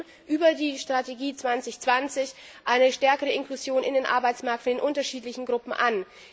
Wir streben über die Strategie 2020 eine stärkere Inklusion in den Arbeitsmarkt für die unterschiedlichen Gruppen an.